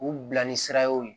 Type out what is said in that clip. U bila ni sira ye